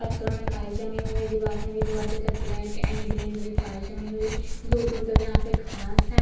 पत्थरों में काई जमी हुई है दीवार में भी बोहोत ज्यादा ब्लैक एंड ग्रीन ग्रीन कई जमी हुई है दूर-दूर तक यहाँ पे घाँस है।